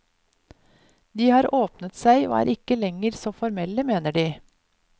De har åpnet seg og er ikke lenger så formelle, mener de.